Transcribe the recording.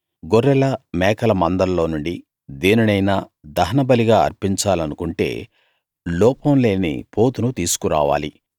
గొర్రెల మేకల మందల్లో నుండి దేనినైనా దహనబలిగా అర్పించాలనుకుంటే లోపం లేని పోతును తీసుకు రావాలి